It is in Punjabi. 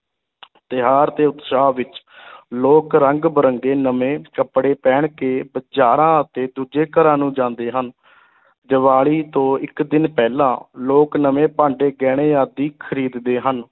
ਤਿਉਹਾਰ ਦੇ ਉਤਸ਼ਾਹ ਵਿੱਚ ਲੋਕ ਰੰਗ ਬਿਰੰਗੇ ਨਵੇਂ ਕੱਪੜੇ ਪਹਿਨ ਕੇ ਬਾਜ਼ਾਰਾਂ ਅਤੇ ਦੂਜੇ ਘਰਾਂ ਨੂੰ ਜਾਂਦੇ ਹਨ ਦੀਵਾਲੀ ਤੋਂ ਇਕ ਦਿਨ ਪਹਿਲਾਂ, ਲੋਕ ਨਵੇਂ ਭਾਂਡੇ, ਗਹਿਣੇ ਆਦਿ ਖਰੀਦਦੇ ਹਨ।